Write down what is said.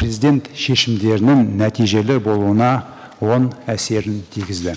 президент шешімдерінің нәтижелі болуына оң әсерін тигізді